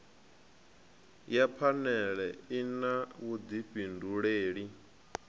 ya phanele i na vhudifhinduleli